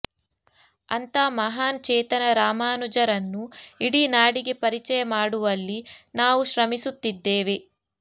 ಅಂಥ ಮಹಾನ್ ಚೇತನ ರಾಮಾನುಜರನ್ನು ಇಡೀ ನಾಡಿಗೆ ಪರಿಚಯ ಮಾಡುವಲ್ಲಿ ನಾವು ಶ್ರಮಿಸುತ್ತಿದ್ದೇವೆ